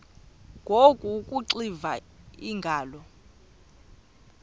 ngoku akuxiva iingalo